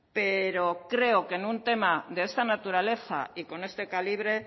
pero creo que en un tema de esta naturaleza y con este calibre